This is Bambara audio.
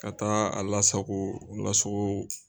Ka taa a lasago, lasago.